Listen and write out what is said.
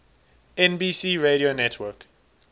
nbc radio network